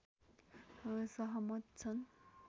सहमत छन्।